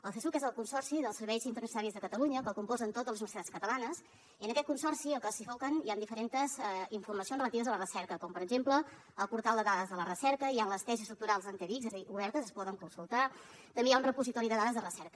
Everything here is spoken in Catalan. el csuc és el consorci de serveis universitaris de catalunya que el composen totes les universitats catalanes i en aquest consorci el que s’hi aboquen són diferentes informacions relatives a la recerca com per exemple el portal de dades de la recerca hi han les tesis doctorals en tdx és a dir obertes es poden consultar també hi ha un repositori de dades de recerca